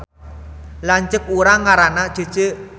Lanceuk urang ngaranna Cece